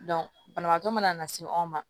banabaatɔ mana na se anw ma